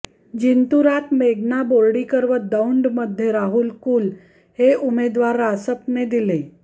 जिंतुरात मेघना बोर्डीकर व दौंडमध्ये राहुल कुल हे उमेदवार रासपने दिले